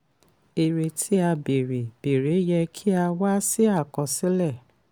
èrè tí a bèrè bèrè yẹ kí a wá sí àkọsílẹ̀.